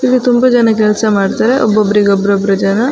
ಇಲ್ಲಿ ತುಂಬ ಜನ ಕೆಲ್ಸ ಮಡ್ತಾರೆ ಒಬ್ಬೊಬ್ರಿಗೆ ಒಬ್ಬೊಬ್ರು ಜನ.